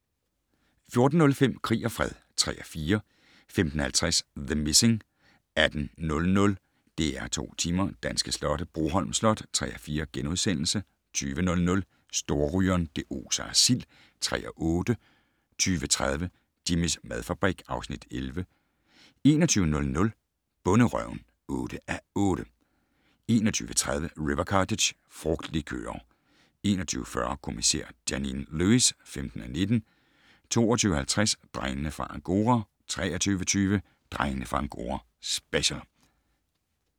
14:05: Krig og fred (3:4) 15:50: The Missing 18:00: DR2 Tema: Danske slotte - Broholm Slot (3:4)* 20:00: Storrygeren - det oser af sild (3:8) 20:30: Jimmys madfabrik (Afs. 11) 21:00: Bonderøven (8:8) 21:30: River Cottage - frugtlikører 21:40: Kommissær Janine Lewis (15:19) 22:50: Drengene fra Angora 23:20: Drengene fra Angora - special